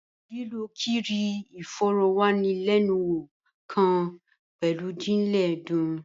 Lílo kíri ìfòròwánilénuwò kàn pẹlu jijinlẹ ẹdun.